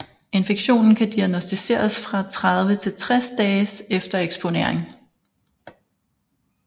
Infektionen kan diagnosticeres fra 30 til 60 dage efter eksponering